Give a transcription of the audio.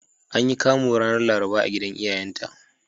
An yi Kamu ranar Laraba a gidan iyayenta.